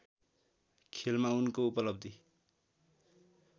खेलमा उनको उपलब्धी